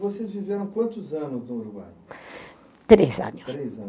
Vocês viveram quantos anos no Uruguai? Três anos. Três